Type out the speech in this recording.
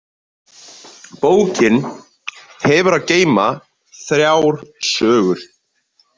Bókin hefur að geyma þrjár sögur.